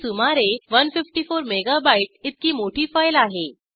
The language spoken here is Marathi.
ती सुमारे 154 मेगा बाइट इतकी मोठी फाईल आहे